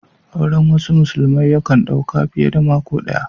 Auren wasu musulmai ya kan dau ka fiye da mako daya.